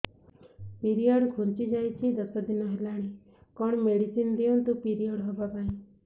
period ଘୁଞ୍ଚି ଯାଇଛି ଦଶ ଦିନ ହେଲାଣି କଅଣ ମେଡିସିନ ଦିଅନ୍ତୁ ପିରିଅଡ଼ ହଵା ପାଈଁ